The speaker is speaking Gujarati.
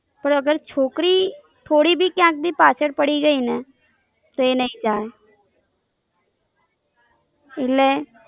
પર અગર છોકરી થોડી ભી ક્યાંય ભી પાછળ પડી ગઈ ને તો એ નઈ ચાલે.